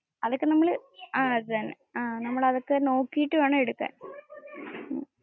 അതിപ്പോ നമ്മൾ. ആ അത് തന്നെ. നമ്മൾ അതൊക്കെ നോക്കിയിട് വേണം എടുക്കാൻ.